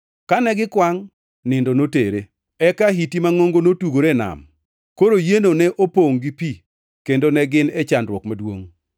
Kane gikwangʼ, nindo notere. Eka ahiti mangʼongo notugore e nam, koro yieno ne opongʼ gi pi kendo ne gin e chandruok maduongʼ.